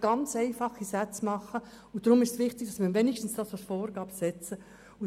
Da können Sie nur ganz einfache Sätze bilden, und deshalb ist es wichtig, wenigstens dies als Vorgabe festzulegen.